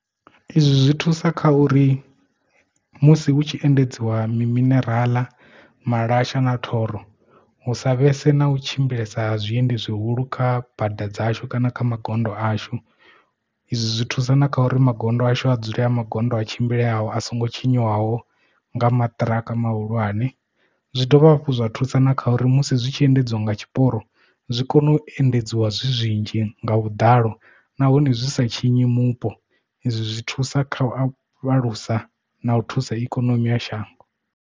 Izwi zwi thusa kha uri musi hu tshi endedziwa mi minerala, malasha na thoro hu sa vhese na u tshimbilesa ha zwiendi zwihulu kha bada dzashu kana kha magondo ashu izwi zwi thusa na kha uri magondo ashu a dzule a magondo a tshimbileaho a songo tshinyiwaho nga maṱiraka mahulwane zwi dovha hafhu zwa thusa na kha uri musi zwi tshi endedziwa nga tshiporo zwi kone u endedziwa zwi zwinzhi nga vhuḓalo nahone zwi sa tshinyi mupo izwi zwi thusa kha u afho alusa na u thusa ikonomi ya shango.